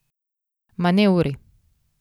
Manevri.